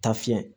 Ta fiyɛ